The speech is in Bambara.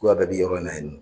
bɛɛ bɛ yɔrɔ in na yen nɔ.